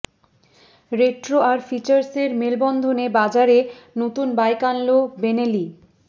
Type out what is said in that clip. retro আর ফিচার্সের মেলবন্ধনে বাজারে নতুন বাইক আনল বেনেলি